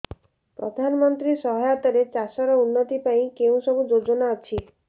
ପ୍ରଧାନମନ୍ତ୍ରୀ ସହାୟତା ରେ ଚାଷ ର ଉନ୍ନତି ପାଇଁ କେଉଁ ସବୁ ଯୋଜନା ଅଛି